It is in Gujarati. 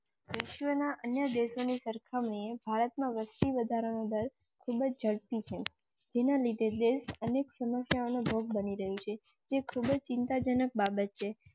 વિશ્વના અન્ય દેશો ની સરખામણીએ ભારત માં વસતિ વધારા નો દર ખૂબ જ ઝડપી છે. અનેક સમસ્યા નો ભોગ બની રહી છે, જે ખૂબ જ ચિંતાજનક બાબત છે.